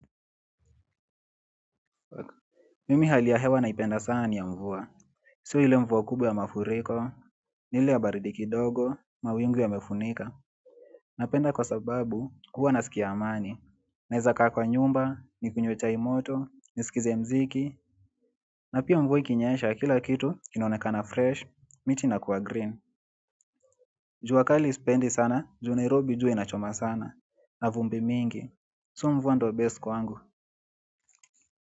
Mimi hali ya hewa naipenda sana ni ya mvua iswe ile mvua kubwa ya mafuriko ni ile ya baridi kifogo mawingu yamefunika napenda kwa sababu huwa nasikia amani naeza kaa kwa nyumba, nikunywe chai moto nisikize mziki na pia mvua ikinyesha kila kitu kinaonekana fresh, miti na kuwa green jua kali sipendi sana, juu Nairobi jua inachoma sana na vumbi mingi. So mvua ndyo best kwangu.